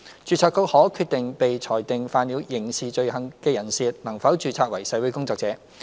註冊局可決定被裁定犯了刑事罪行的人士，能否註冊為社會工作者。